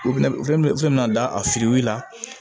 da a fili la